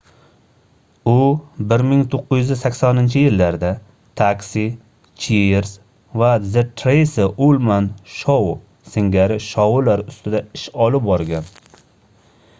u 1980-yillarda taxi cheers va the tracy ullman show singari shoular ustida ish olib borgan